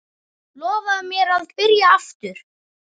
Lofaðu mér að byrja aftur!